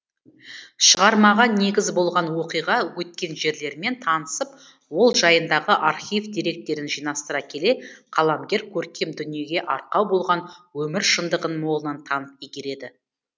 шығармаға негіз болған оқиға өткен жерлермен танысып ол жайындағы архив деректерін жинастыра келе қаламгер көркем дүниеге арқау болған өмір шындығын молынан танып игереді